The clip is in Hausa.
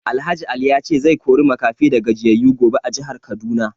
Alh Ali ya ce zai kori makafi da gajiyayu gobe a jihar Kaduna